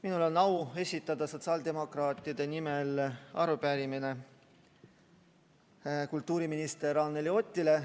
Minul on au esitada sotsiaaldemokraatide nimel arupärimine kultuuriminister Anneli Otile.